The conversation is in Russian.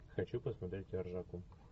хочу посмотреть ржаку